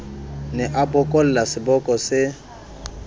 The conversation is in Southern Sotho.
ne a bokolla seboko se